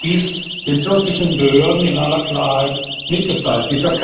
Ich habe das den türkischen Behörden in aller Klarheit mitgeteilt.